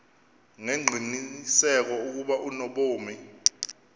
ngengqiniseko ukuba unobomi